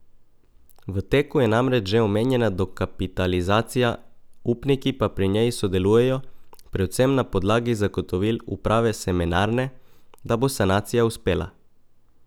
V teku je namreč že omenjena dokapitalizacija, upniki pa pri njej sodelujejo predvsem na podlagi zagotovil uprave Semenarne, da bo sanacija uspela.